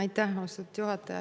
Aitäh, austatud juhataja!